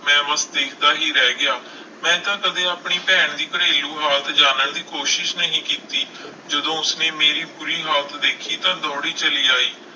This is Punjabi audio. ਮੈਂ ਬਸ ਦੇਖਦਾ ਹੀ ਰਹਿ ਗਿਆ, ਮੈਂ ਤਾਂ ਕਦੇ ਆਪਣੀ ਭੈਣ ਦੀ ਘਰੇਲੂ ਹਾਲਤ ਜਾਣਨ ਦੀ ਕੋਸ਼ਿਸ਼ ਨਹੀਂ ਕੀਤੀ ਜਦੋਂ ਉਸਨੇ ਮੇਰੀ ਬੁਰੀ ਹਾਲਤ ਦੇਖੀ ਤਾਂ ਦੌੜੀ ਚਲੀ ਆਈ।